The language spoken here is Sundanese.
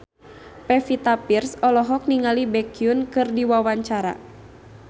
Pevita Pearce olohok ningali Baekhyun keur diwawancara